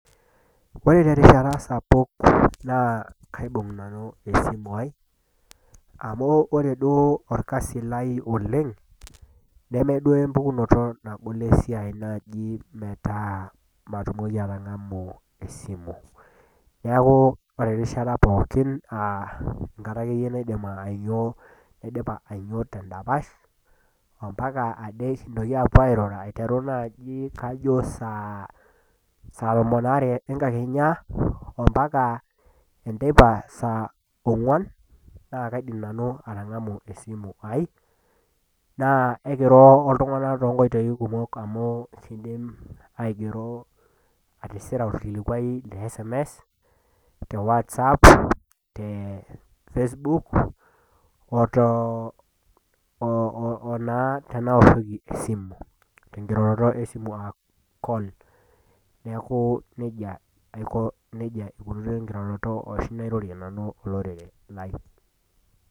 Ore te erishata sapuk naa kaibung' nanu esimu aai, amu ore duo olkasi lai oleng' , nemeeduo empukunoto duo esiainnagol naaji nagol metaa eji matilaki atang'amu esimu. Neaku ore erishata pookin aa erishata naidim naidipa ainyo tendapasha, ompaka ade nekintoki aapuo airura aiteru naaji kajo saa tomon aare enkakenya, ompaka enteipa saa ong'wan, naa kaidim nanu atang'amu esimu aai, naa ekiro oltung'ana toonkoitoi kumok amu kindim aatisira olkilikwaai le SMS, te WhatsApp, te Facebook, o naa tenaoshoki esimu tenkiroroto esimu aa call, neaku neija etiu oshi enkirorot ashi nairorie nanu olorere lai.